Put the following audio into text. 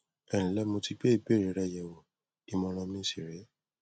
ẹ ǹlẹ mo ti gbé ìbéèrè rẹ yẹwò ìmọràn mi sì rè é